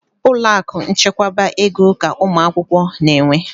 Ụlọakụ nchekwaba ego ka ụmụakwụkwọ na-enwe.